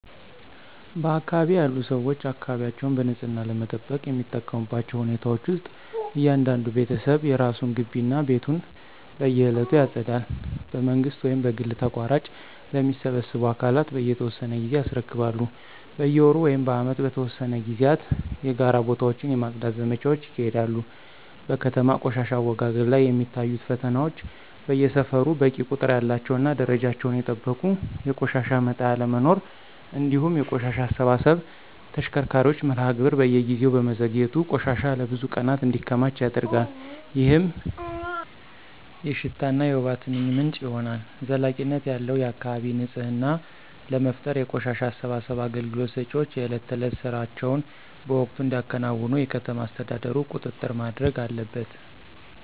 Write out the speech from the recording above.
በአካባቢዬ ያሉ ሰዎች አካባቢያቸውን በንጽህና ለመጠበቅ የሚጠቀሙባቸው ሁኔታዎች ውስጥ እያንዳንዱ ቤተሰብ የራሱን ግቢ እና ቤቱን በየዕለቱ ያጸዳል። በመንግሥት ወይም በግል ተቋራጮች ለሚሰበስቡ አካላት በየተወሰነ ጊዜ ያስረክባሉ። በየወሩ ወይም በዓመት በተወሰኑ ጊዜያት የጋራ ቦታዎችን የማፅዳት ዘመቻዎች ይካሄዳሉ። በከተማ ቆሻሻ አወጋገድ ላይ የሚታዩት ፈተናዎች በየሰፈሩ በቂ ቁጥር ያላቸውና ደረጃቸውን የጠበቁ የቆሻሻ መጣያ አለመኖር፤ እንዲሁም የቆሻሻ አሰባሰብ ተሽከርካሪዎች መርሃ ግብር በየጊዜው በመዘግየቱ ቆሻሻ ለብዙ ቀናት እንዲከማች ያደርጋል፣ ይህም የሽታና የወባ ትንኝ ምንጭ ይሆናል። ዘላቂነት ያለው የአካባቢ ንፅህና ለመፍጠር የቆሻሻ አሰባሰብ አገልግሎት ሰጪዎች የዕለት ተዕለት ሥራቸውን በወቅቱ እንዲያከናውኑ የከተማ አስተዳደሩ ቁጥጥር ማድረግ አለበት።